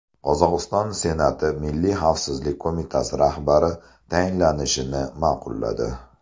Qozog‘iston senati Milliy xavfsizlik qo‘mitasi rahbari tayinlanishini ma’qulladi.